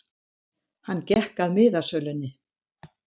Hann gekk að miðasölunni.